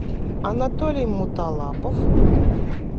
анатолий муталапов